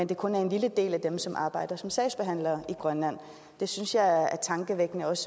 det kun er en lille del af dem som arbejder som sagsbehandlere i grønland det synes jeg er tankevækkende også